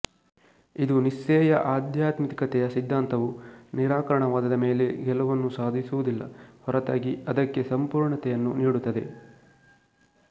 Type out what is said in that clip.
ಇದು ನೀತ್ಸೆಯ ಆಧ್ಯಾತ್ಮಿಕತೆಯ ಸಿದ್ಧಾಂತವು ನಿರಾಕರಣವಾದದ ಮೇಲೆ ಗೆಲುವನ್ನು ಸಾಧಿಸುವುದಿಲ್ಲ ಹೊರತಾಗಿ ಅದಕ್ಕೆ ಸಂಪೂರ್ಣತೆಯನ್ನು ನೀಡುತ್ತದೆ